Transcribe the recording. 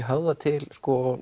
höfða til